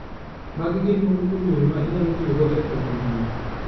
Magi gin moko kuom yore ma inyalo tiyogo e konyo nyuok.